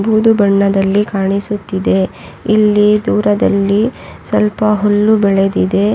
ಆಕಾಶ ನೀಲಿ ಮತ್ತು ಬಿಳಿ ನೇರಳೆ ಬಣ್ಣದಲ್ಲಿ ಕಾಣಿಸುತ್ತಿದೆ ಇಲ್ಲಿ ಒಂದು ಮರದ ಕಂಬ ಕೂಡ ಇದೆ .